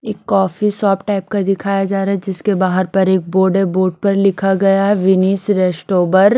एक coffee shop type का दिखाया जा रहा है जिसके बाहर पर एक बोर्ड बोर्ड पर लिखा गया है विनिस रेस्टोवर।